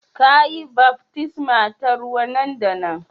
Ka yi baftisma ta ruwa nan da nan